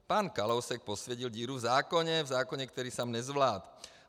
Pan Kalousek posvětil díru v zákoně, v zákoně, který sám nezvládl.